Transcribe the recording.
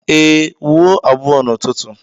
Ee, wuo abụọ n'ụtụtụ